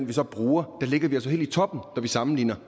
vi så bruger ligger helt i toppen når vi sammenligner